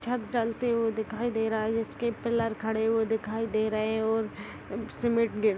छत दलते हुए दिखाई दे रहा है जिसके पिलर खड़े हुए दिखाई दे रहै है और सीमेंट